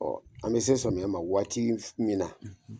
Ɔ an bɛ se sɔmiyɛ ma waati min